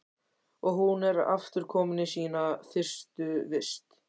Og hún er aftur komin í sína fyrstu vist.